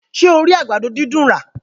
Ṣé o rí àgbàdo dídùn rà?